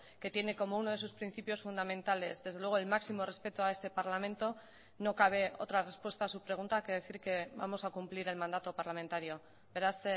que tiene como uno de sus principios fundamentales desde luego el máximo respeto a este parlamento no cabe otra respuesta a su pregunta que decir que vamos a cumplir el mandato parlamentario beraz